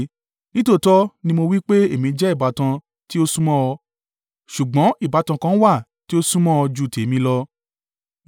Nítòótọ́ ni mo wí pé èmi jẹ́ ìbátan tí ó súnmọ́ ọ, ṣùgbọ́n ìbátan kan wà tí ó súnmọ́ ọ ju ti tèmi lọ.